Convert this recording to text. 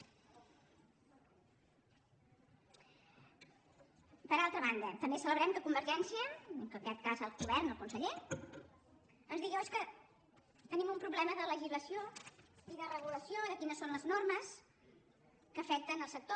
per altra banda també celebrem que convergència en aquest cas el govern el conseller ens digui oh és que tenim un problema de legislació i de regulació de quines són les normes que afecten el sector